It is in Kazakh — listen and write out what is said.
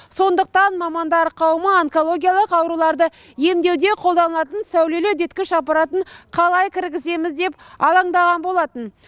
сондықтан мамандар қауымы онкологиялық ауруларды емдеуде қолданылатын сәулелі үдеткіш аппаратын қалай кіргіземіз деп алаңдаған болатын